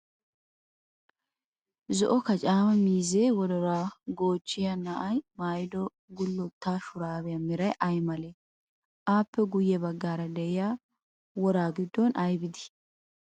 Zo'o kacaama miizzee wodoruwa goochchiya na'ay mayyido gullotta shuraabiya meray ay malee? Aappe guyye baggaara diya wora giddon ayibi dii?